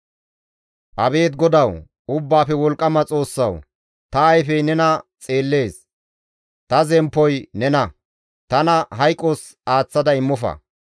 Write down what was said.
Abeet GODAWU, Ubbaafe Wolqqama Xoossawu! Ta ayfey nena xeellees; ta zemppoy nena; tana hayqos aaththada immofa.